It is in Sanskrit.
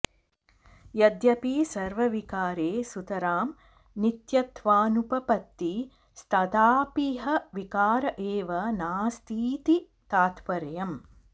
यद्यपि सर्वविकारे सुतरां नित्यत्वानुपपत्ति स्तथापीह विकार एव नास्तीति तात्पर्यम्